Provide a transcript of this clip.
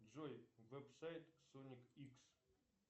джой веб сайт соник икс